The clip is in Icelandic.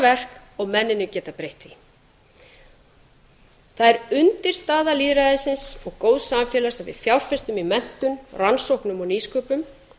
verk og mennirnir geta breytt því það er undirstaða lýðræðisins og góðs samfélags að við fjárfestum í menntun rannsóknum og nýsköpun